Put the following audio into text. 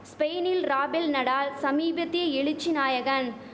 ஸ்பெயினில் Rafael Nadal சமீபத்திய எழுச்சி நாயகன்